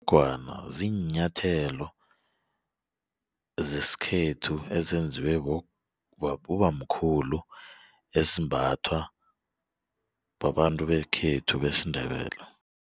ziinyathelo zesikhethu ezenziwe bobamkhulu esimbathwa babantu bekhethu besiNdebele.